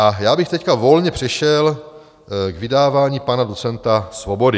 A já bych teď volně přešel k vydávání pana docenta Svobody.